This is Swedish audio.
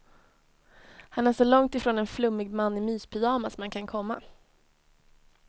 Han är så långt ifrån en flummig man i myspyjamas man kan komma.